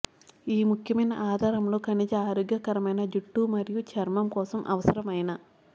ఈ ముఖ్యమైన ఆధారములు ఖనిజ ఆరోగ్యకరమైన జుట్టు మరియు చర్మం కోసం అవసరమైన